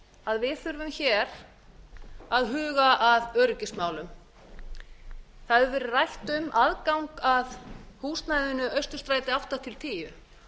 að við þurfum að huga að öryggismálum hér rætt hefur verið um aðgang að húsnæðinu austurstræti átta til tíu